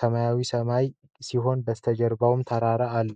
ሰማያዊ ሲሆን ከበስተጀርባም ተራራ አለ።